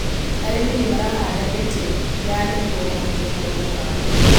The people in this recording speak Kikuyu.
Arĩmi nĩmarahanda mĩtĩ ya nĩguo mahote kuona mbaũ.